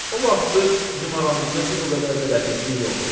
O vaxtı bizim aramızda bir o qədər də rəfiqlik yox idi.